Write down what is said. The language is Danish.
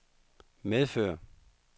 medfører